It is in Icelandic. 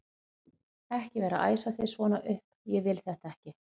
ekki vera að æsa þig svona upp. ég vil þetta ekki!